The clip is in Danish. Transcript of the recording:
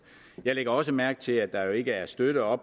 jeg lægger også mærke til at der jo ikke er støtte og